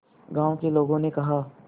गांव के लोगों ने कहा